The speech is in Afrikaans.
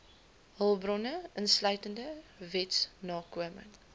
hulpbronne insluitende wetsnakoming